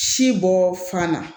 Si bɔ fana